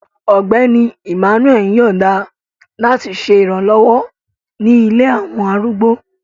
Ọgbẹni Emmanuel yọọda lati ṣe iranlọwọ ni ilé awọn arúgbó